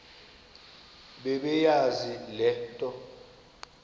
bebeyazi le nto